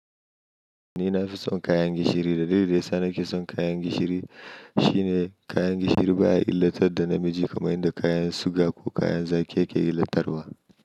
Ni na fi son kayan gishiri, dalilin da yasa nake son kayan gishiri shine kayan gishiri baya illatar da namiji kamar yadda kayan suga ko kayan zaki yake illatarwa.